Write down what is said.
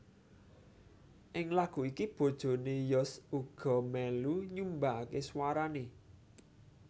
Ing lagu iki bojone Yos uga melu nyumbangake swarane